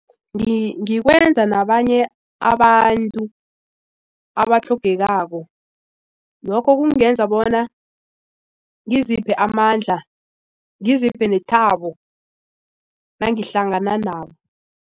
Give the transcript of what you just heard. Ngikwenza nabanye abantu abatlhogekako lokho kungenza bona ngiziphi amandla ngiziphe nethabo nangihlangana nabo.